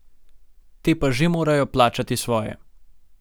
Te pa že morajo plačati svoje.